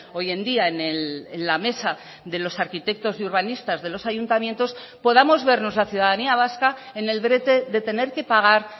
hoy en día en la mesa de los arquitectos y urbanistas de los ayuntamientos podamos vernos la ciudadanía vasca en el brete de tener que pagar